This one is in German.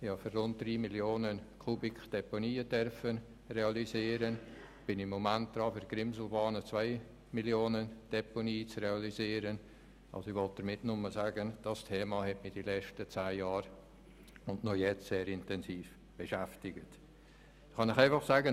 Ich habe Deponien für rund 3 Mio. Kubikmeter realisieren dürfen und bin gegenwärtig daran, bei der Grimselbahn eine Deponie für 2 Mio. Kubikmeter zu realisieren.